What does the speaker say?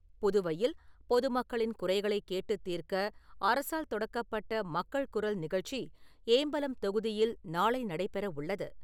புதுவையில் பொதுமக்களின் குறைகளை கேட்டுத் தீர்க்க, அரசால் தொடக்கப்பட்ட மக்கள் குரல் நிகழ்ச்சி ஏம்பலம் தொகுதியில் நாளை நடைபெற உள்ளது.